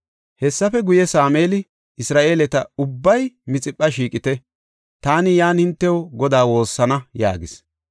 Hessafe guye, Sameeli, “Isra7eeleta, ubbay Mixipha shiiqite; taani yan hintew Godaa woossana” yaagis.